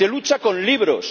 se lucha con libros